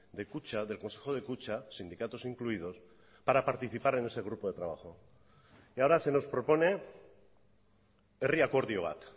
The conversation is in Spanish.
de kutxa del consejo de kutxa sindicatos incluidos para participar en ese grupo de trabajo y ahora se nos propone herri akordio bat